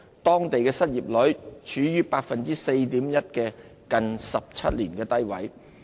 當地失業率處於 4.1% 的近17年低位。